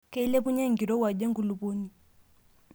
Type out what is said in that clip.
Keilepunyie enkirowuaj enkulupuoni.